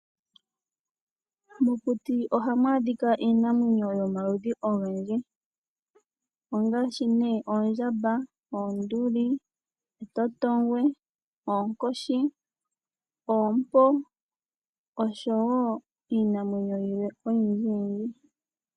Mokuti ohamu adhika iinamwenyo yomaludhi ogendji ngaashi oondjamba ,oonduli ,etotongwe, oonkoshi ,oompo osho wo iinamwenyo yilwe oyindji yindji.